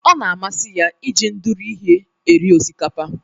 O na-amasị ya iji ndụrụ ihe eri osikapa.